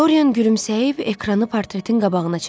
Doryan gülümsəyib ekranı portretin qabağına çəkdi.